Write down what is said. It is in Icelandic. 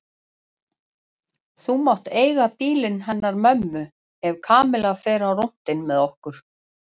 Þú mátt eiga bílinn hennar mömmu ef Kamilla fer á rúntinn með okkur